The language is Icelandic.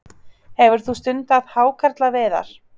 Hefur þú stundað hákarlaveiðar?